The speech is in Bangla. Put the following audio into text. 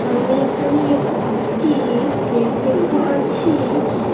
আমি এখানে একটি প্লেট দেখতে পাচ্ছি--